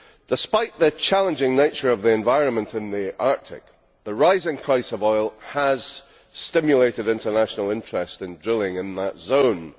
Despite the challenging nature of the environment in the Arctic, the rising price of oil has stimulated international interest in drilling in that zone.